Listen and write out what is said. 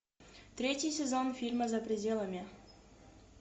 третий сезон фильма за пределами